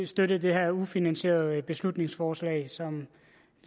støtte det her ufinansierede beslutningsforslag som